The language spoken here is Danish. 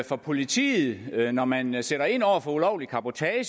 for politiet når man man sætter ind over for ulovlig cabotage at